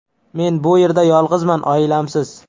Men bu yerda yolg‘izman, oilamsiz.